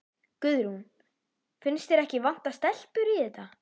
Guðrún: Finnst þér ekki vanta stelpur í þetta?